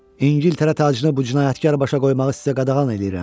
İngiltərə tacını bu cinayətkar başa qoymağı sizə qadağan eləyirəm.